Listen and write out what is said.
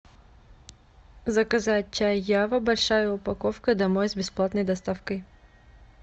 заказать чай ява большая упаковка домой с бесплатной доставкой